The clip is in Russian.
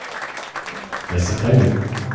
я сохранил